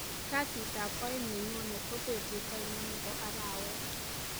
kasit ab oeng nenyone ko betut ainon nebo arawet